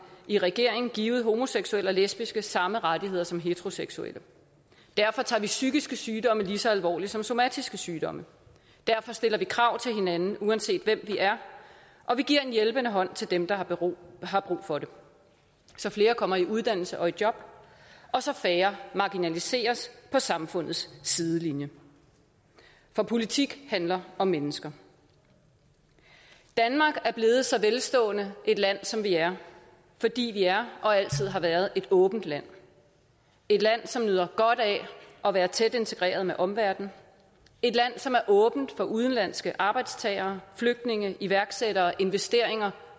i regeringen givet homoseksuelle og lesbiske samme rettigheder som heteroseksuelle derfor tager vi psykiske sygdomme lige så alvorligt som somatiske sygdomme derfor stiller vi krav til hinanden uanset hvem vi er og vi giver en hjælpende hånd til dem der har brug for det så flere kommer i uddannelse og i job og så færre marginaliseres på samfundets sidelinje for politik handler om mennesker danmark er blevet så velstående et land som det er fordi vi er og altid har været et åbent land et land som nyder godt af at være tæt integreret med omverdenen et land som er åbent for udenlandske arbejdstagere flygtninge iværksættere investeringer